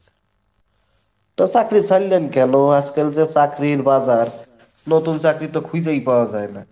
তো চাকরি ছাড়লেন কেনো? আজকাল যে চাকরির বাজার, নতুন চাকরি তো খুঁজেই পাওয়া যায় না।